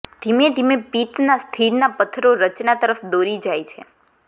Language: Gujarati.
ધીમે ધીમે પિત્ત ના સ્થિરતા પત્થરો રચના તરફ દોરી જાય છે